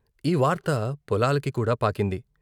ఈ వార్త పొలాలకి కూడా పాకింది.